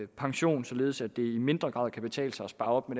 pension således at det i mindre grad kan betale sig at spare op